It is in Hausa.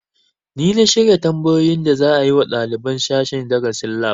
Ni na shirya tambayoyin da za a yi wa ɗaliban sashen darasin lab